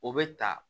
O bɛ ta